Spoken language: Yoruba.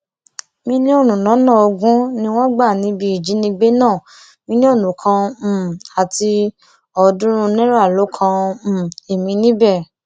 mílíọnù lọnà ogún ni wọn gbà níbi ìjínigbé náà mílíọnù kan um àti ọọdúnrún náírà ló kan um ẹmí níbẹ